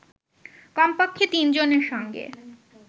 কমপক্ষে তিনজনের সঙ্গে